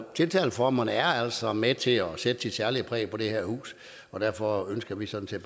tiltaleformerne er altså med til at sætte et særligt præg på det her hus og derfor ønsker vi sådan